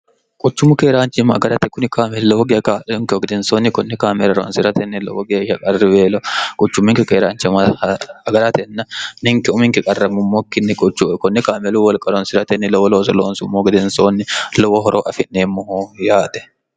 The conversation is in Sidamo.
quchummu keeraanchimma agarate kuni kaame lowo geak'onkeho gedensoonni kunni kaamera roonsi'ratenni lowo geeyya qarriweelo quchumminki keeraancha magaratenna ninke uminki qarrammummokkinni quchue kunni kaamelu wolqa roonsi'ratenni lowo looso loonsummoh gedensoonni lowo horo afi'neemmoho yaate